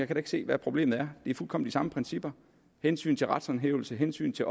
kan se hvad problemet er det er fuldkommen samme principper hensynet til retshåndhævelsen hensynet til